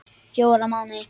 Fjóra mánuði.